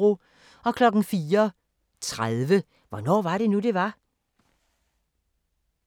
04:30: Hvornår var det nu, det var?